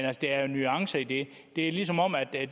at der er nuancer i det det er som om at det